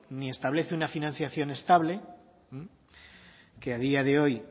ni establece una financiación estable que a día de hoy